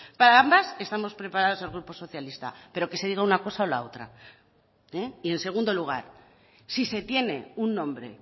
para ambas estamos preparados el grupo socialista pero que se diga una cosa o la otra y en segundo lugar si se tiene un nombre